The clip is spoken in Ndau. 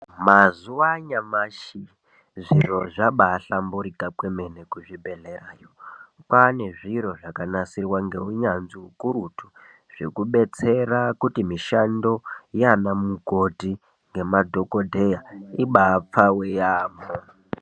Mazuva anyamashi zviro zvabahlamburuka kwemene kuzvibhedhlerayo kwane zviro zvakanasirwa neunyanzvi ukurutu zvekudetsera kuti mishando Yana mikoti nemadhokodeya ibapfave yambo.